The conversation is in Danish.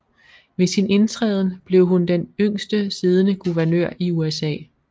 Ved sin indtræden blev hun den yngste siddende guvernør i USA